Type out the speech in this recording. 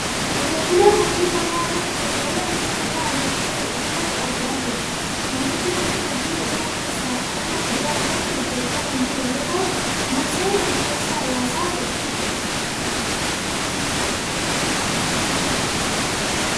Qote bulaa hojii qonnaa irratti bobbayee hojii qonnaa hojjachaa jiru asirratti argaa jirra. Namichi kunis hojii qonnaa keessaa qonna kuduraa irratti hojjachaa kan jiru yoo ta'u, moosee lafa keessaa yaasaa jira.